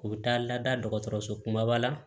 U bɛ taa lada dɔgɔtɔrɔso kumaba la